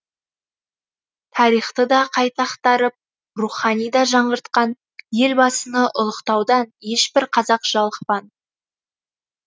тарихты да қайта ақтарып рухани да жаңғыртқан елбасыны ұлықтаудан ешбір қазақ жалықпан